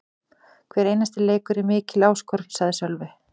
Hver einasti leikur er mikil áskorun, sagði Sölvi.